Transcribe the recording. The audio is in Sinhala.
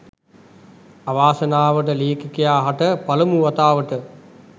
අවාසනාවට ලේඛකයා හට පළමු වතාවට